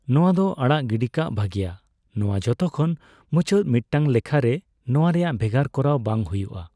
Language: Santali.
ᱱᱚᱣᱟ ᱫᱚ ᱟᱲᱟᱜ ᱜᱤᱰᱤᱠᱟᱜ ᱵᱷᱟᱜᱮᱭᱟ; ᱱᱚᱣᱟ ᱡᱷᱚᱛᱚ ᱠᱷᱚᱱ ᱢᱩᱪᱟᱹᱫ ᱢᱤᱫᱴᱟᱝ ᱞᱮᱠᱷᱟᱨᱮ ᱱᱚᱣᱟ ᱨᱮᱭᱟᱜ ᱵᱷᱮᱜᱟᱨ ᱠᱚᱨᱟᱣ ᱵᱟᱝ ᱦᱩᱭᱩᱜᱼᱟ ᱾